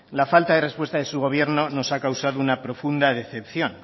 la falta de respuesta de su gobierno nos ha causado una profunda decepción